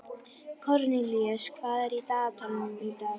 Kornelíus, hvað er í dagatalinu í dag?